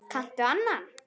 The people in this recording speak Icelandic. Kanntu annan?